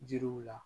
Jiriw la